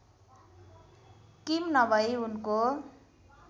किम नभई उनको